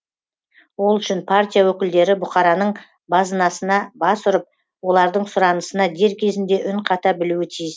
ол үшін партия өкілдері бұқараның базынасына бас бұрып олардың сұранысына дер кезінде үн қата білуі тиіс